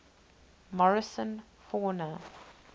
morrison fauna